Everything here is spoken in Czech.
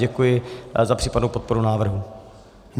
Děkuji za případnou podporu návrhu.